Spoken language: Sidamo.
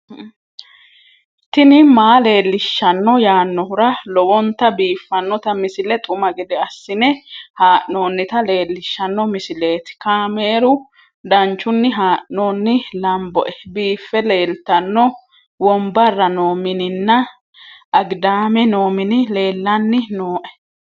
tini maa leelishshanno yaannohura lowonta biiffanota misile xuma gede assine haa'noonnita leellishshanno misileeti kaameru danchunni haa'noonni lamboe biiffe leeeltanno wombarra noo mininna agidaame noo mini ellanni nooe